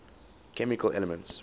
chemical elements